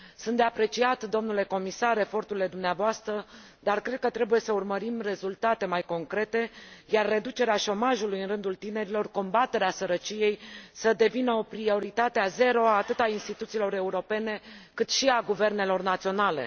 Sunt de apreciat, domnule comisar, eforturile dumneavoastră, dar cred că trebuie să urmărim rezultate mai concrete, iar reducerea șomajului în rândul tinerilor, combaterea sărăciei, să devină prioritatea zero atât a instituțiilor europene, cât și a guvernelor naționale.